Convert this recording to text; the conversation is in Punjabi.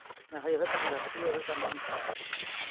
ਆਹੋ ਇਹੋ ਕੰਮ ਲੱਭਦੀ ਐ ਇਹੋ ਕੰਮ